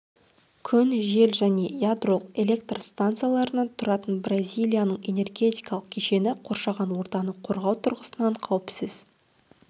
күн жел және ядролық электр станцияларынан тұратын бразилияның энергетикалық кешені қоршаған ортаны корғау тұрғысынан қауіпсіз